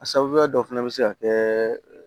A sababuya dɔ fana bɛ se ka kɛ